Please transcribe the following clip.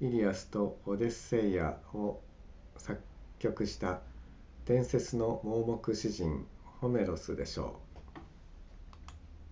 イリアスとオデュッセイアを作曲した伝説の盲目詩人ホメロスでしょう